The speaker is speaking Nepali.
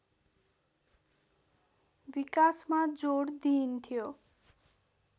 विकासमा जोड दिइन्थ्यो